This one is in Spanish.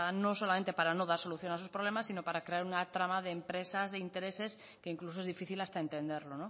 no solamente para no dar solución a esos problemas sino para crear una trama de empresas de intereses que incluso es difícil hasta entenderlo